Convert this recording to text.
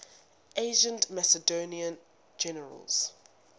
ancient macedonian generals